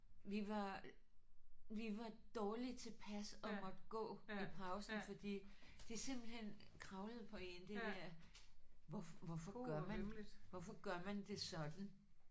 Vi var vi var dårlig tilpas og måtte gå i pausen fordi det simpelthen kravlede på en det der hvor hvorfor gør man hvorfor gør man det sådan